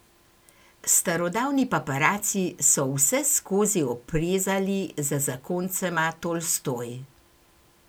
Starodavni paparaci so vseskozi oprezali za zakoncema Tolstoj.